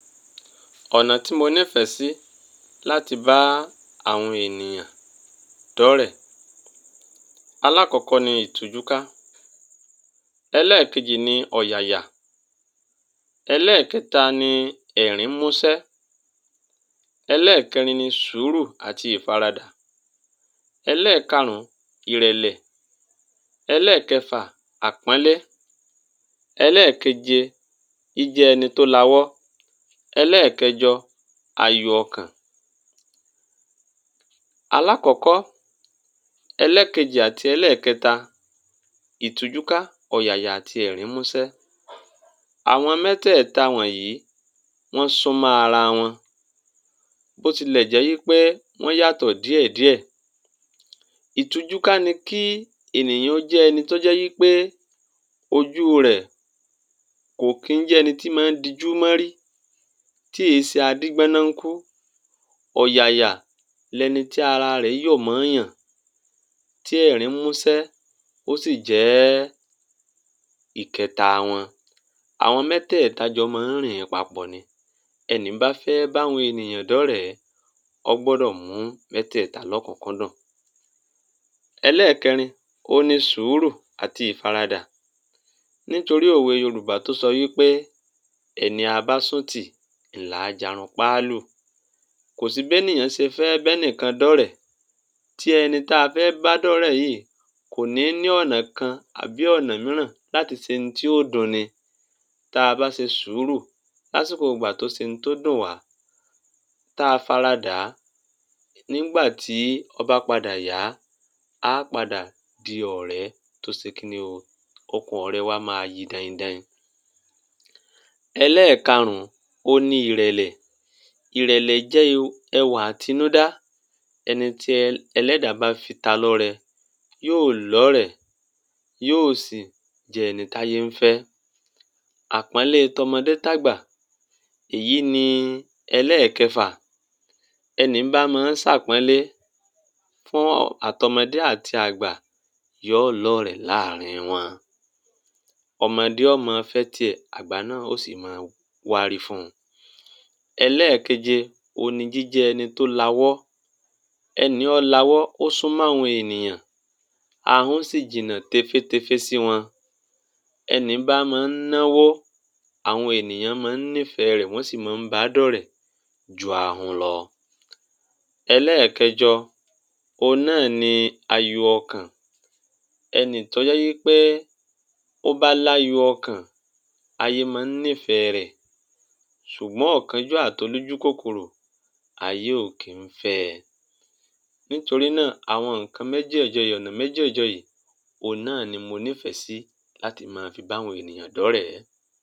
ọ̀nà tí mo nífẹ̀ẹ́ sí láti bá àwọn ènìyàn dọ́rẹ̀ẹ́, alákọ̀ọ́kọ́ ni ìtújúká, ẹlẹ́ẹ̀kejì ni ọ̀yàyà, ẹlẹ́ẹ̀kẹta ni ẹ̀rín músẹ́, ẹlẹ́ẹ̀kẹrin ni sùúrù àti ìfaradà, ẹlẹ́ẹ̀karùn ìrẹ̀lẹ̀, ẹlẹ́ẹ̀kẹfà àpọ́nlé, ẹlẹ́ẹ̀keje jíjẹ́ ẹni tó lawọ́, ẹlẹ́ẹ̀kẹjọ ayọ̀ ọkàn. Alákọ̀ọ́kọ́, ẹlẹ́ẹ̀kejì àti ẹlẹ́ẹ̀kẹta, ìtújúká, ọ̀yàyà àti ẹ̀rín músẹ́. Àwọn mẹ́tẹ̀ẹ̀ta wọ̀nyí, wọ́n súnmọ́ ara wọn bó tilẹ̀ jẹ́ wí pé wọ́n yàtọ̀ díẹ̀díẹ̀. Ìtújúká ni kí ènìyàn jẹ́ ẹni tó jẹ́ wí pé ojú rẹ̀, kò kí ń jẹ́ ẹni tó máa ń dijú mọ́’rí tí èé ṣe adígbọ́nọnkú. ọ̀yàyà ni ẹni tí ara rẹ̀ yọ̀ mọ́ọ̀yàn tí ẹ̀rín músẹ́ ó sì jẹ́ ìkẹta wọn. Àwọn mẹ́tẹ̀ẹ̀ta jọ máa ń rìn papọ̀ ni. ẹni bá fẹ́ bá àwọn ènìyàn dọ́rẹ̀ẹ́ ó gbọ́dọ̀ mú métẹ̀ẹ̀ta lókùnkúndùn. Ẹlẹ́ẹ̀kẹrin òun ni sùúrù àti ìfaradà, nítorí òwe yorùbá tó sọ wí pé ẹni a bá sùn ti ni àá jarunpá lù, kò sí bénìyàn ṣe fẹ́ bẹ́nìkan dọ́rẹ̀ẹ́ tí ẹni tí a fẹ́ bá dọ́rẹ̀ẹ́ yìí kò ní ní ọ̀nà kan àbí ọ̀nà mìíràn láti ṣe ohun tí yó dun’ni. Tá bá ṣe sùúrul lásìkò tó ṣe ohun tó dùn wá, tá a fara dàá, nígbà tí ó bah padà yá, a á padà di ọ̀rẹ́ tó ṣe kí ni o? Okùn ọ̀rẹ́ wa máa yi daindain. Ẹlẹ́ẹ̀karùn òun ni ìrẹ̀lẹ̀, ìrẹ̀lẹ̀ jẹ́ ẹwà àtinúdá ẹni tí ẹlẹ́dà bá fi ta lọ́rẹ, yóò lọ́rẹ̀ẹ́ yóò sì jẹ́ ẹni táyé ń fẹ́. Àpọ́nlé t’ọmọdé t’àgbà. Èyí ni ẹlẹ́ẹ̀kẹfà, ẹni bá máa ń ṣàpọ́nlé fún àt’ọmọdé àti àgbà yó lọ́rẹ̀ẹ́ láàrin wọn. ọmọdé ó máa fẹ́ tiẹ̀ àgbà náà ó sì máa wárí fun. ẹlẹ́ẹ̀keje òun ni jíjẹ́ ẹni tó lawọ́, ẹni ó lawọ́ ó súnmọ́ àwọn ènìyàn ahun sì jìnnà téfétéfé sí wọn. ẹni bá máa ń ná’wó àwọn ènìyàn máa ń nífẹ̀ẹ́ rẹ̀ wọ́n sì máa ń ba dọ́rẹ̀ẹ́ ju ahun lọ. ẹlẹ́ẹ̀kẹjọ, òun náà ni ayọ̀ ọkàn. ẹni tó jẹ́ wí pé ó bá láyọ̀ ọkàn ayé máa ń nífẹ̀ẹ́ rẹ̀ ṣùgbọ́n ọ̀kanjúà àt’olójúkòkòrò ayé ò kí ń fẹ́ ẹ. Nítorí náà, àwọn nǹkan mẹ́jẹ̀jọ yìí, ọ̀nà mẹ́jẹjọ yìí òun náà ni mo nífẹ̀ẹ́ si láti máa fi bá àwọn ènìyàn dọ́rẹ̀ẹ́